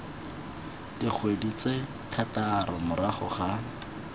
dikgwedi tse thataro morago ga